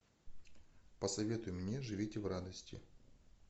посоветуй мне живите в радости